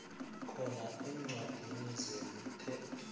khona eencwadini zemithetho